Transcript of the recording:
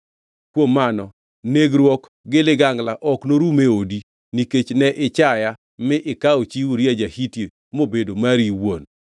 Kuom mano, negruok gi ligangla ok norum e odi, nikech ne ichaya mi ikawo chi Uria ja-Hiti mobedo mari iwuon.’